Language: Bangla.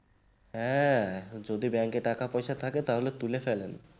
হ্যাঁ যদি bank কে টাকা পয়সা থাকে তাহলে তুলে ফেলেন